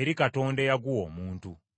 eri Katonda eyaguwa omuntu.